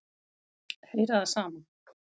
Heyra það sama.